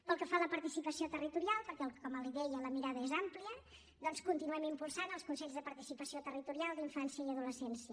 pel que fa a la participació territorial perquè com li deia la mirada és amplia doncs continuem impulsant els consells de participació territorial d’infància i adolescència